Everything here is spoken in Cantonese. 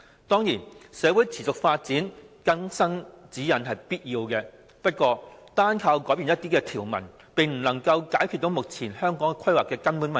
當然，隨着社會持續發展，有必要更新《規劃標準》，但單靠更改一些條文，並不能夠解決目前規劃的根本問題。